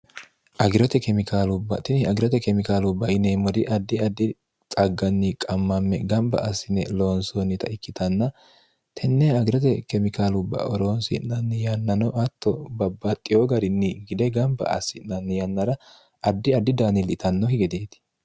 agirote kemikaalubbatini agirote kemikaalu baineemmori addi addi xagganni qammamme gamba assine loonsoonnita ikkitanna tenne agirote kemikaalu baoroonsi'nanni yannano atto babbaxxiyo garinni gide gamba assi'nanni yannara addi addi daanillitanno higedeeti